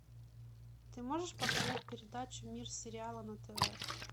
ты можешь показать передачу мир сериала на тв